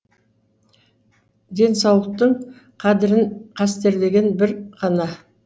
денсаулықтың қадірін қастерлеген бір ғана